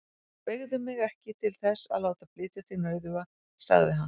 Beygðu mig ekki til þess að láta flytja þig nauðuga, sagði hann.